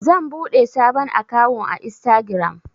zan buɗe sabon akawun a instagiram